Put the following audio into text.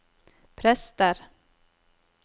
prester